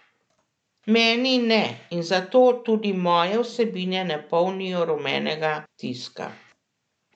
Meni ne in zato tudi moje vsebine ne polnijo rumenega tiska.